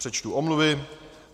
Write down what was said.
Přečtu omluvy.